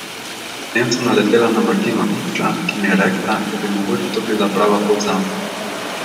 Potem sem naletela na Martino Ipša, ki mi je rekla, da bi mogoče to bila prava pot zame.